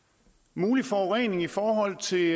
mulig forurening i forhold til